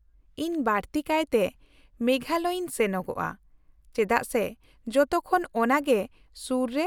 -ᱤᱧ ᱵᱟᱹᱲᱛᱤᱠᱟᱭᱛᱮ ᱢᱮᱜᱷᱟᱞᱚᱭᱤᱧ ᱥᱮᱱᱚᱜᱼᱟ, ᱪᱮᱫᱟᱜ ᱥᱮ ᱡᱚᱛᱚᱠᱷᱚᱱ ᱚᱱᱟᱜᱮ ᱥᱩᱨ ᱨᱮ